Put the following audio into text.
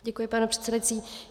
Děkuji, pane předsedající.